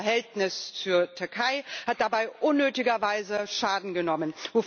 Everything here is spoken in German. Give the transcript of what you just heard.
Das Verhältnis zur Türkei hat dabei unnötiger Weise Schaden genommen.